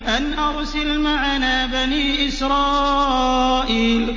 أَنْ أَرْسِلْ مَعَنَا بَنِي إِسْرَائِيلَ